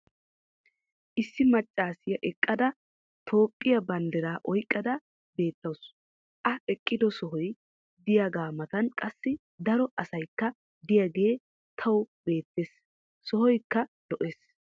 issi macaassiya eqqada toophiya bandiraa oyqqada beetawusu. a eqqido sohoy diyagaa matan qassi daro asaykka diyagee tawu beetees. sohoykka lo'ees.